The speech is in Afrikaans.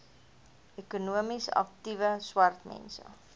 ekonomies aktiewe swartmense